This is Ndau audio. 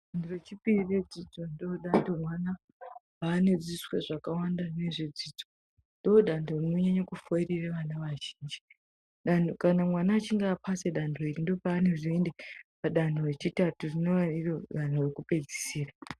Danho rechipiri redzidzo ndiro danho vana ravanodzidzoswe zvakawanda nezvedzidzo, ndodanho rinonyanyo kufoirire vana vazhinji, kana mwana achinge apasa danho iri ndopaanozoende padanho rechitatu rinova iro danho rekuoedzisora.